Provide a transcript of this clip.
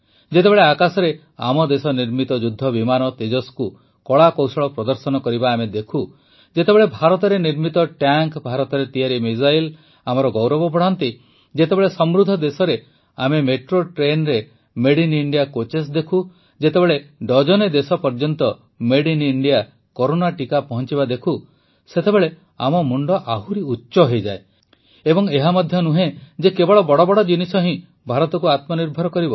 ଯେତେବେଳେ ଆକାଶରେ ଆମ ଦେଶ ନିର୍ମିତ ଯୁଦ୍ଧ ବିମାନ ତେଜସ୍କୁ କଳାକୌଶଳ ପ୍ରଦର୍ଶନ କରିବା ଆମେ ଦେଖୁ ଯେତେବେଳେ ଭାରତରେ ନିର୍ମିତ ଟ୍ୟାଙ୍କ୍ ଭାରତରେ ତିଆରି ମିସାଇଲ୍ ଆମର ଗୌରବ ବଢ଼ାନ୍ତି ଯେତେବେଳେ ସମୃଦ୍ଧ ଦେଶରେ ଆମେ ମେଟ୍ରୋ ଟ୍ରେନ୍ରେ ମଦେ ଆଇଏନ ଇଣ୍ଡିଆ କୋଚ୍ସ ଦେଖୁ ଯେତେବେଳେ ଡଜନେ ଦେଶ ପର୍ଯ୍ୟନ୍ତ ଗବୟର ସଦ୍ଭ ଓଦ୍ଭୟସବ କରୋନା ଟିକା ପହଂଚିବା ଦେଖୁ ସେତେବେଳେ ଆମ ମୁଣ୍ଡ ଆହୁରି ଉଚ୍ଚ ହୋଇଯାଏ ଏବଂ ଏହା ମଧ୍ୟ ନୁହେଁ ଯେ କେବଳ ବଡ଼ବଡ଼ ଜିନିଷ ହିଁ ଭାରତକୁ ଆତ୍ମନିର୍ଭର କରିବ